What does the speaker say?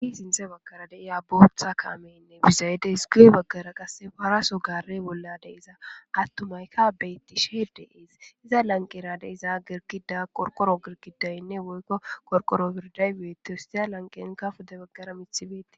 Hi sinthe baggara deiya bootha kaameynne bisayede hisqile baggara qasse paraso gare bollade iza attumayka beyttishee deees iza lanqerade iza girkida qorqoro girkidaynne woykko korqoro birday beeti siya lanqeinka pode baggara mithibeitti.